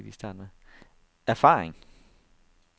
erfaring